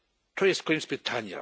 To jest koniec pytania.